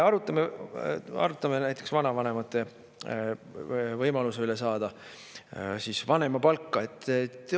Arutame näiteks vanavanemate võimaluse üle saada vanemapalka.